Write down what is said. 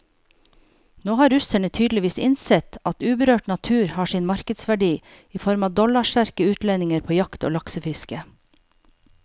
Nå har russerne tydeligvis innsett at uberørt natur har sin markedsverdi i form av dollarsterke utlendinger på jakt og laksefiske.